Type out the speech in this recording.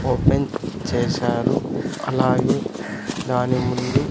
open చేశారు అలాగే దాని ముందు --